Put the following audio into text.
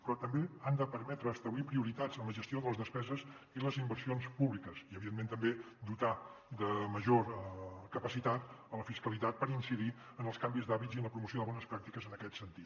però també han de permetre esta·blir prioritats en la gestió de les despeses i les inversions públiques i evidentment també dotar de major capacitat la fiscalitat per incidir en els canvis d’hàbits i en la promoció de bones pràctiques en aquest sentit